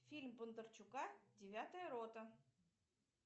фильм бондарчука девятая рота